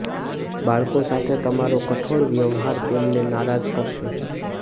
બાળકો સાથે તમારો કઠોર વ્યવહાર તેમને નારાજ કરશે